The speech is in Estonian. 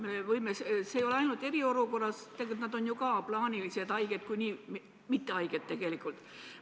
See ei puuduta ainult eriolukorda, nad on ju ka plaanilised haiged, kui nii võtta, õigemini mittehaiged tegelikult.